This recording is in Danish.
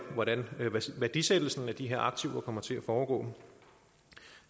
hvordan værdisættelsen af de her aktiver kommer til at foregå